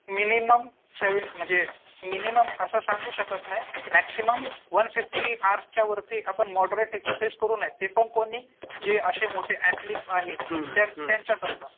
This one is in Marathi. मिनिमम म्हणजे मिनिमम असं सांगू शकत नाही मॅक्सिमम वन फिफ्टी हवर्सच्या वरती आपण मॉडरेट एक्झरसाईझ करू नयेत. ते पण कोणी जे असे मोठे ऍथलिट आहेत त्यांच्या त्यांच्या करता.